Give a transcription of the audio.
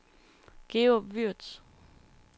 Georg Würtz